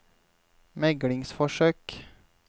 meglingsforsøk